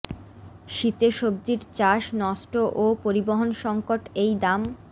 শীতে সবজির চাষ নষ্ট ও পরিবহন সংকট এই দাম